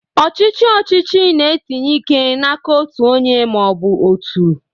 Ọchịchị ọchịchị na-etinye ike n'aka otu onye ma ọ bụ otu.